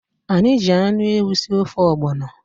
Anyị ji anụ ewu sie ofe ọgbọnọ.